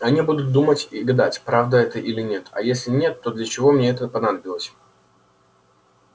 они будут думать и гадать правда это или нет а если нет то для чего мне это понадобилось